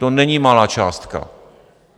To není malá částka!